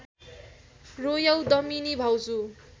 रोयौ दमिनी भाउजू